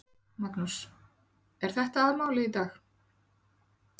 Magnús: Er þetta aðalmálið í dag?